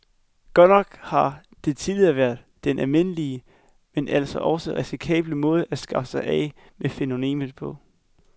Godt nok har det tidligere været den almindelige, men altså også risikable måde at skaffe sig af med fænomenet på.